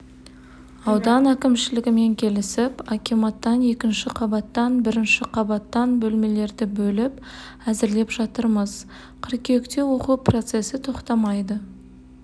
аудан әкімшілігімен келісіп акиматтан екінші қабаттан бірінші қабаттан бөлмелерді бөліп әзірлеп жатырмыз қыркүйекте оқу процесі тоқтамайды